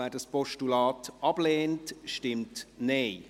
wer dieses ablehnt, stimmt Nein.